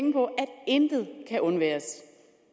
intet kan undværes